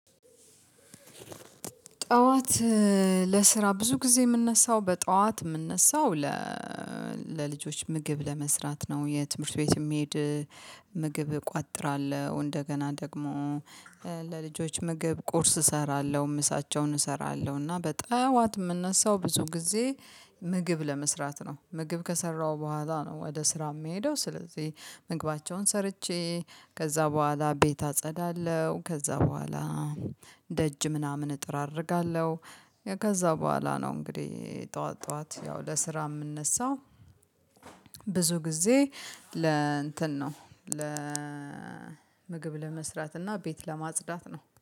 ጠዋት ለስራ ብዙ ጊዜ የምነሳው በጠዋት የምነሳው ለ ምግብ ለመስራት ነው። የትምህርት ቤት የሚሄድ ምግብ እቋጥራለሁ እንደገና ደግሞ ለልጆች ምግብ ቁርስ እሰራለሁ ምሳቸውን እሰራለሁ። እና በጠዋት የምነሳው ብዙ ጊዜ ምግብ ለመስራት ነው ምግብ ከሰራው በኋላ ነው። ወደ ስራ የምሄደው ስለዚህ ምግባቸውን ሰርቼ ከዛ በኋላ ቤት አጸዳለሁ ከዛ በኋላ ደጅ ምናምን እጠራርጋለሁ። ከዛ በኋላ ነው። እንግዲህ ጠዋት ጠዋት ያው ለስራ የምነሳው ብዙ ጊዜ ለእንትን ነው ለምግብ ለመስራት እና ቤት ለማጽዳት ነው